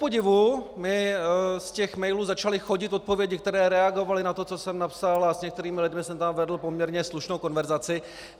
Kupodivu mi z těch mailů začaly chodit odpovědi, které reagovaly na to, co jsem napsal, a s některými lidmi jsem tam vedl poměrně slušnou konverzaci.